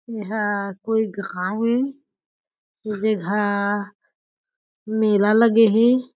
ऐहा कोई घांव ए ए जघा मेला लगे हे।